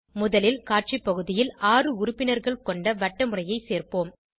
முதலில் காட்சி பகுதியில் ஆறு உறுப்பினர்கள் கொண்ட வட்டமுறையை சேர்ப்போம்